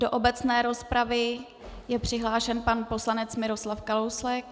Do obecné rozpravy je přihlášen pan poslanec Miroslav Kalousek.